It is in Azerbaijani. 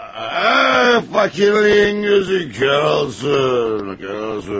Fakirliyin gözü kor olsun, kor olsun.